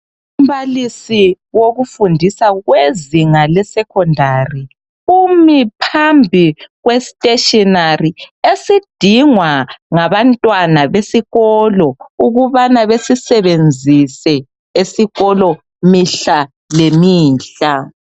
Umbalisi wokufundisa wezinga lesecondary umi phambili kwesteshinari esidingwa ngabantwana besikolo ukubana besisebenzise esikolo mihla lemihla.